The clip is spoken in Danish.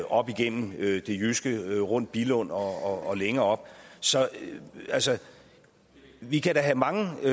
op igennem det jyske rundt billund og længere op så vi kan da have mange